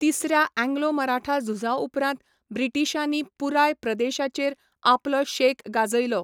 तिसऱ्या अँग्लो मराठा झुजा उपरांत ब्रिटीशांनी पुराय प्रदेशाचेर आपलो शेक गाजयलो.